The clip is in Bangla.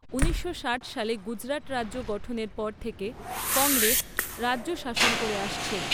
ঊনিশশো ষাট সালে গুজরাট রাজ্য গঠনের পর থেকে কংগ্রেস রাজ্য শাসন করে আসছে।